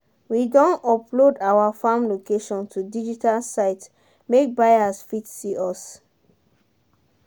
we don upload our farm location to digital site make buyers fit see us.